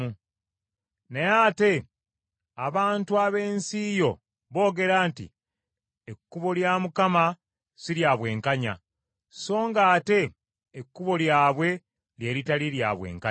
“Naye ate abantu ab’ensi yo boogera nti, Ekkubo lya Mukama si lya bwenkanya, so nga ate ekkubo lyabwe lye litali lya bwenkanya.